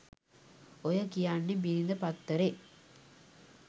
ඔය කියන්නෙ බිරිඳ පත්තරේ